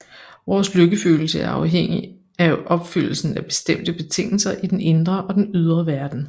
Vores lykkefølelse er afhængig af opfyldelsen af bestemte betingelser i den indre og den ydre verden